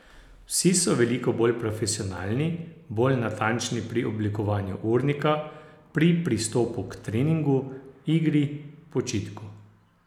Vsi so veliko bolj profesionalni, bolj natančni pri oblikovanju urnika, pri pristopu k treningu, igri, počitku.